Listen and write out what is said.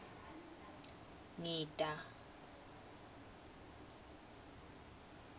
ngita